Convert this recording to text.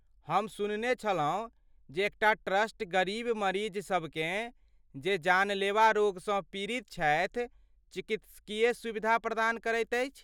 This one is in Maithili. हम सुनने छलहुँ जे एक टा ट्रस्ट गरीब मरीजसभकेँ जे जानलेवा रोगसँ पीड़ित छथि चिकित्सकीय सुविधा प्रदान करैत अछि।